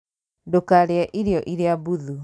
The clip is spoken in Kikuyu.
Ndũkarĩe irio iria mbuthu